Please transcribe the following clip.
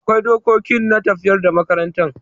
Akwai dokoki na tafiyar da makarantan.